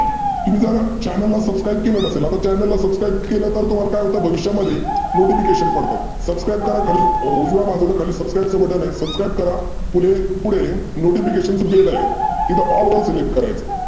तुम्ही जर channel ला subscribe केलं नसेल, आता channel ला subscribe केलं तर तुम्हाला काय होतं? भविष्यामध्ये notification पडतात. subscribe करा खाली उजव्या बाजूला खाली subscribe चं button आहे subascrib करा पुढे notification चं bell आहे तिथं all select करायचं.